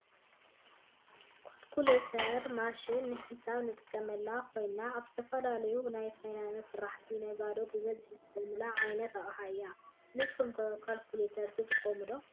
ኳልኩሌተር ማሽን ንሒሳብ ትጠቅም ኮይና ኣብ ዝተፈላለዩ ናይ ፋይናንስ ስራሕን ነጋዶን ብበዝሒ ዝጥቀሙላ ዓይነት ኣቅሓ እያ። ንስኩም ከ ኳልኩሌተር ትጥቀሙ ዶ ?